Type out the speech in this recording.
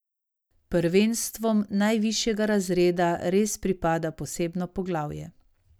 Prvenstvom najvišjega razreda res pripada posebno poglavje.